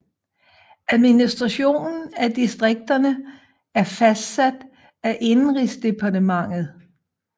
Administrationen af distrikterne er fastsat af Indenrigsdepartementet